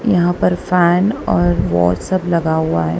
यहां पर फैन और वो सब लगा है।